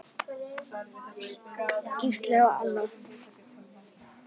Gísli og Anna.